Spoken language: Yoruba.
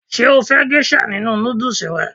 Ṣé o fẹ́ gésà nínu nódùsù rẹ?